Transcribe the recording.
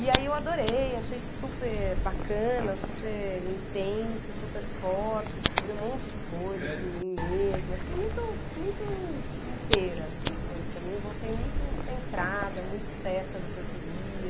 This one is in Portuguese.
E aí eu adorei, achei super bacana, super intenso, super forte, descobri um monte de coisa de mim mesma, fiquei muito inteira, assim, depois do caminho, voltei muito centrada, muito certa do que eu queria.